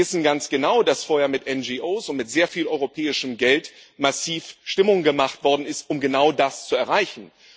Sie wissen ganz genau, dass vorher mit NGOs und mit sehr viel europäischem Geld massiv Stimmung gemacht worden ist, um genau das zu erreichen.